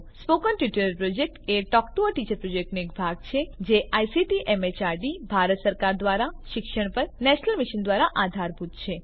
spoken tutorial project a talk to a teacher પ્રોજેક્ટનો એક ભાગ છે જે આઇસીટી એમએચઆરડી ભારત સરકાર દ્વારા શિક્ષણ પર નેશનલ મિશન દ્વારા આધારભૂત છે